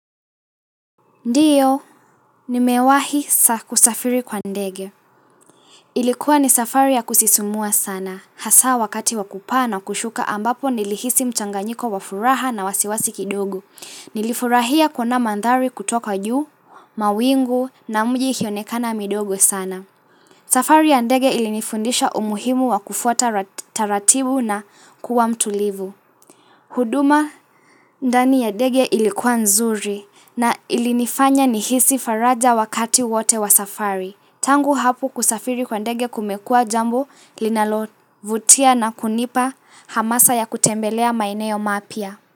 Ndiyo, nimewahi kusafiri kwa ndege. Ilikuwa ni safari ya kusisumua sana, hasa wakati wakupaa na kushuka ambapo nilihisi mchanganyiko wa furaha na wasiwasi kidogo. Nilifurahia kuona mandhari kutoka juu, mawingu na mji ikionekana midogo sana. Safari ya ndege ilinifundisha umuhimu wa kufuata taratibu na kuwa mtulivu. Huduma ndani ya ndege ilikuwa nzuri na ilinifanya nihisi faraja wakati wote wa safari. Tangu hapu kusafiri kwa dege kumekua jambo linalovutia na kunipa hamasa ya kutembelea maeneo mapya.